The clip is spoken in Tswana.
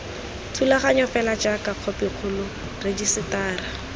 thulaganyo fela jaaka khopikgolo rejisetara